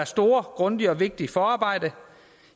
store grundige og vigtige forarbejde